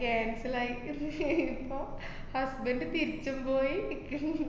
cancel അയി ഇപ്പൊ husband തിരിച്ചും പോയി ~ക്ക്